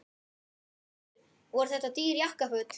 Höskuldur: Voru þetta dýr jakkaföt?